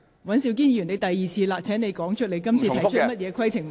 尹兆堅議員，你已經是第二次提出問題，請指出你要提出的規程問題。